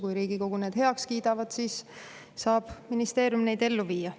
Kui Riigikogu need heaks kiidab, siis saab ministeerium neid ellu viia.